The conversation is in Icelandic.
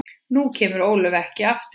Nú kemur Ólöf ekki aftur.